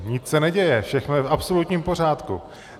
Nic se neděje, všechno je v absolutním pořádku.